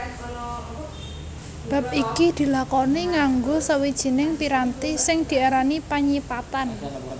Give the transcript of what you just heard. Bab iki dilakoni nganggo sawijining piranti sing diarani panyipatan